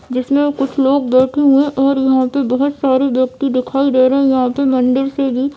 जिसमें कुछ लोग बैठे हुए हैं और यहाँ पे बहोत सारे व्यक्ती दिखाई दे रहे हैं यहाँ के मंदिर से भी --